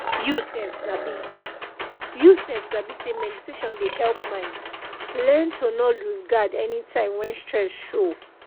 you sef sabi you sef sabi say meditation dey help mind learn to nor lose guard anytime when stress show